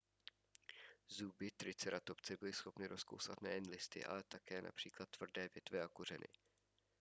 zuby triceratopse byly schopny rozkousat nejen listy ale také například tvrdé větve a kořeny